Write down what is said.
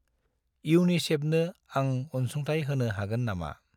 इउनिसेफनो आं अनसुंथाइ होनो हागोन नामा?